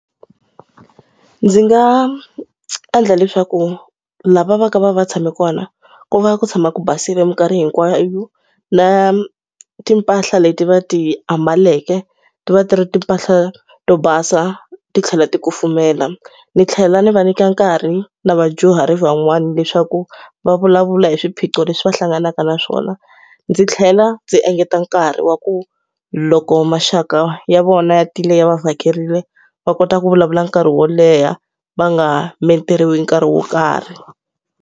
Ndzi nga endla leswaku lava va ka va va tshame kona, ku va ku tshama ku basile minkarhi hinkwayo. Na timpahla leti va ti ambaleke ti va ti ri timpahla to basa ti tlhela ti kufumela. Ni tlhela ni va nyika nkarhi na vadyuhari van'wana leswaku va vulavula hi swiphiqo leswi va hlanganaka na swona. Ndzi tlhela ndzi engeta nkarhi wa ku loko maxaka ya vona ya tile ya va vhakerile, va kota ku vulavula nkarhi wo leha, va nga meteriwi nkarhi wo karhi.